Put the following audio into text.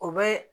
O bɛ